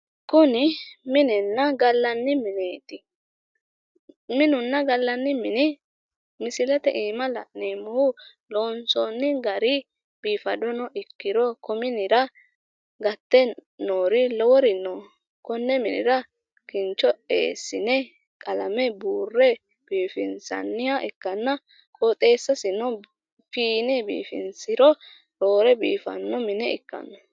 Kuni minenna gallanni mineti misilete iima la'neemmohu gallani mine ikkana biifisate ganittosiri no kincho tuga qalame buurranna qoxxeesasi biifisa